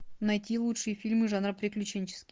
найти лучшие фильмы жанра приключенческий